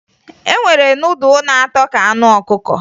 E nwere nudụ na-atọ ka anụ ọkụkọ